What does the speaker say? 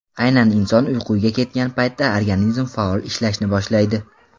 Aynan inson uyquga ketgan paytda organizm faol ishlashni boshlaydi.